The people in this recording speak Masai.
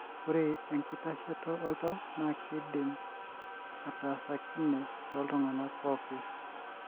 ore enkitasheto oltau na kidim atasakine toltunganak pooki.